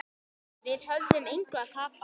Við höfum engu að tapa.